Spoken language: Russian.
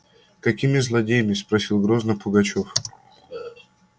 какими злодеями спросил грозно пугачёв